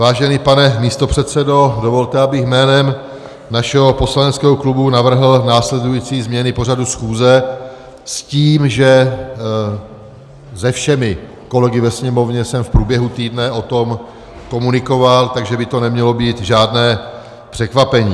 Vážený pane místopředsedo, dovolte, abych jménem našeho poslaneckého klubu navrhl následující změny pořadu schůze, s tím, že se všemi kolegy ve Sněmovně jsem v průběhu týdne o tom komunikoval, takže by to nemělo být žádné překvapení.